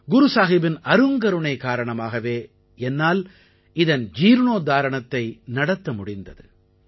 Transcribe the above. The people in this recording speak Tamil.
குரு சாஹிபின் அருங்கருணை காரணமாகவே என்னால் இதன் ஜீர்ணோத்தாரணத்தை நடத்த முடிந்தது